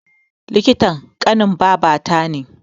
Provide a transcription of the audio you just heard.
Likitan ƙanin babata ne